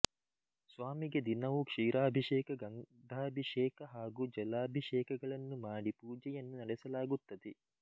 ಸ್ವಾಮಿಗೆ ದಿನವೂ ಕ್ಷೀರಾಭೀಷೇಕ ಗಂಧಾಭಿಷೇಕ ಹಾಗೂ ಜಲಾಭಿಷೇಕಗಳನ್ನು ಮಾಡಿ ಪೂಜೆಯನ್ನು ನಡೆಸಲಾಗುತ್ತದೆ